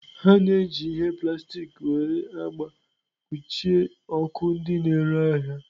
A na-eji ihe plastik nwere agba kpuchie ọkụ ndị na-ere ahịa.